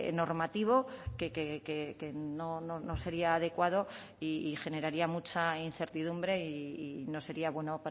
normativo que no sería adecuado y generaría mucha incertidumbre y no sería bueno